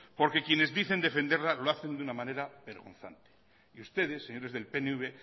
porque quienes dicen defenderla lo hacen de una manera vergonzante y ustedes señores del pnv